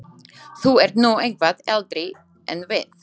Þú ert nú eitthvað eldri en við.